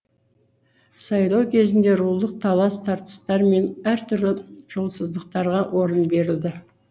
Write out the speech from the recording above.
сайлау кезінде рулық талас тартыстар мен әртүрлі жолсыздықтарға орын берілді